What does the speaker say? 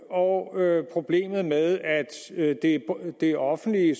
og problemet med at det offentlige